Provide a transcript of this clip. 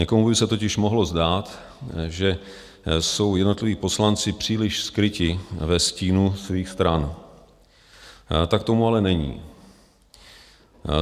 Někomu by se totiž mohlo zdát, že jsou jednotliví poslanci příliš skryti ve stínu svých stran, tak tomu ale není.